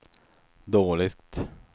dåligt